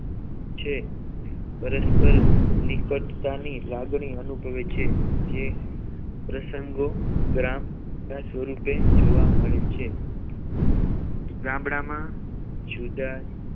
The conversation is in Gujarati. છે પરસ્પર નીકટતાની લાગણી અનુભવે છે જે પ્રસંગો ગ્રામ વિકાસ સ્વરૂપે જોવા મળે છે ગામડામાં જુદા